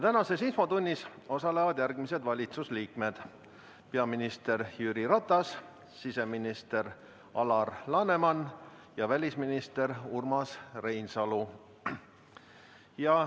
Tänases infotunnis osalevad järgmised valitsuse liikmed: peaminister Jüri Ratas, siseminister Alar Laneman ja välisminister Urmas Reinsalu.